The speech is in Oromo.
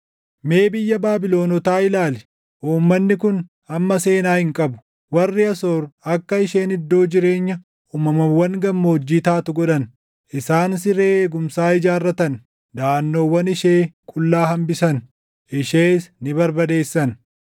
Mee biyya Baabilonotaa ilaali; uummanni kun amma seenaa hin qabu! Warri Asoor akka isheen iddoo jireenya uumamawwan gammoojjii taatu godhan; isaan siree eegumsaa ijaarratan; daʼannoowwan ishee qullaa hambisan; ishees ni barbadeessan.